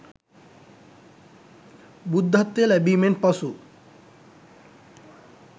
බුද්ධත්වය ලැබීමෙන් පසු